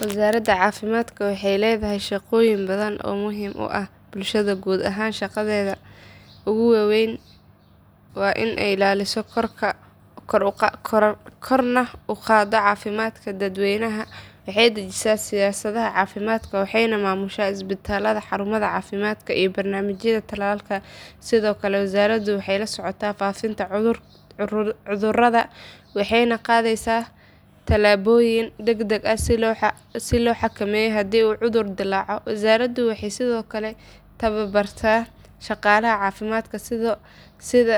Wasaaradda caafimaadka waxay leedahay shaqooyin badan oo muhiim u ah bulshada guud ahaan shaqadeeda ugu weyn waa in ay ilaaliso korna u qaaddo caafimaadka dadweynaha waxay dejisaa siyaasadaha caafimaadka waxayna maamushaa isbitaallada xarumaha caafimaadka iyo barnaamijyada tallaalka sidoo kale wasaaraddu waxay la socotaa faafitaanka cudurrada waxayna qaadayaa tallaabooyin degdeg ah si loo xakameeyo haddii cudur dillaaco wasaaraddu waxay sidoo kale tababartaa shaqaalaha caafimaadka sida